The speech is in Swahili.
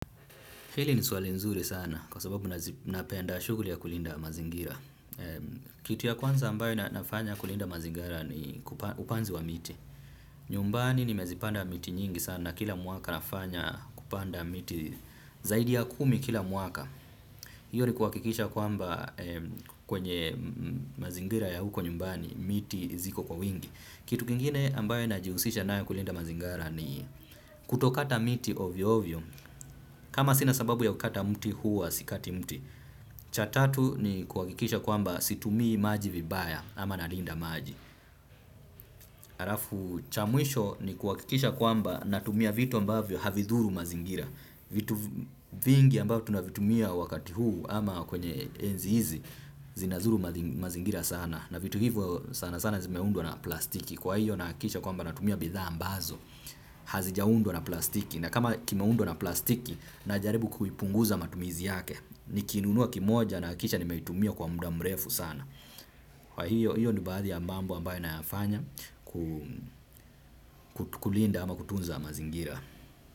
Hili ni swali nzuri sana kwa sababu napenda shughuli ya kulinda mazingira. Kitu ya kwanza ambayo nafanya kulinda mazingira ni upanzi wa miti. Nyumbani nimezipanda miti nyingi sana kila mwaka nafanya kupanda miti zaidi ya kumi kila mwaka. Hiyo ni kuhakikisha kwamba kwenye mazingira ya huko nyumbani miti ziko kwa wingi. Kitu kingine ambayo najihusisha nayo kulinda mazingira ni kutokata miti ovyo-ovyo. Kama sina sababu ya kukata mti huwa sikati mti, cha tatu ni kuhakikisha kwamba situmii maji vibaya ama nalinda maji. Halafu cha mwisho ni kuhakikisha kwamba natumia vitu ambavyo havidhuru mazingira. Vitu vingi ambavyo tunavitumia wakati huu ama kwenye enzi hizi zinadhuru mazingira sana. Na vitu hivyo sana sana zimeundwa na plastiki. Kwa hiyo nahakikisha kwamba natumia bidhaa ambazo hazijaundwa na plastiki. Na kama kimeundwa na plastiki najaribu kuipunguza matumizi yake nikinunua kimoja nahakikisha nimeitumia kwa muda mrefu sana. Hiyo ni baadhi ya mambo ambayo nayafanya. Kulinda ama kutunza mazingira.